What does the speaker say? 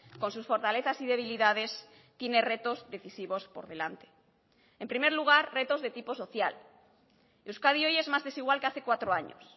con sus fortalezas y debilidades tiene retos decisivos por delante en primer lugar retos de tipo social euskadi hoy es más desigual que hace cuatro años